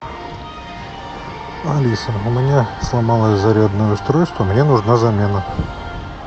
алиса у меня сломалось зарядное устройство мне нужна замена